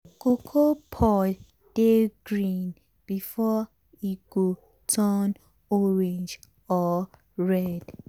cocoa pod dey green before e go turn orange or red.